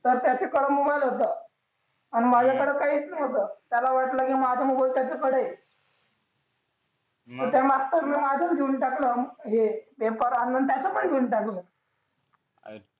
त्याच्याकडे मोबाईल होतं आणि माझ्याकडे काहीच नव्हतं त्याला वाटलं माझा त्याच्याकडे मग त्या मागचा देऊन टाकलं हे पेपर आणि त्याचं पण देऊन टाकलं अच्छा